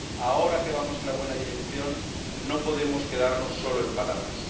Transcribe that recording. Ahora que vamos en la buena dirección no podemos quedarnos solo en palabras.